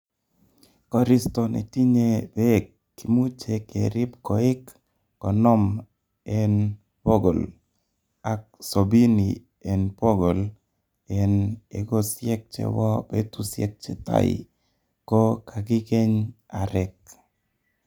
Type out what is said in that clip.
Koristo netinye beek kimuche kerib koik konoom en bogol, ak sobini en bogol en ekosiek chebo betusiek chetai ko kakikeny areek.